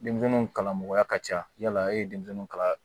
Denmisɛnninw kalan mɔgɔya ka ca yala e ye denmisɛnninw kala